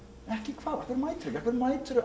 ekki hvað af hverju